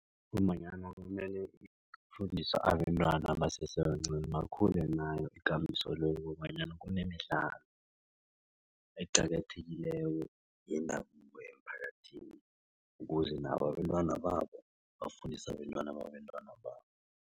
Ngombanyana kumele kufundiswe abentwana basesebancani bakhule nayo ikambiso le kobanyana kunemidlalo eqakathekileko yendabuko emphakathini ukuze nabo abentwana babo bafundise abentwana babentwana babo.